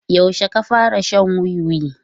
Yaushe ka fara shan wiwi?